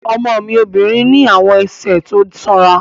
Ọmọ mi obìnrin ní àwọn ẹsẹ̀ tó sanra